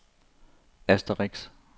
asterisk